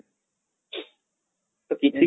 ତ କିଛି